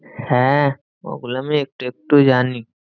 হ্যাঁ ওগুলো আমি একটু একটু জানি।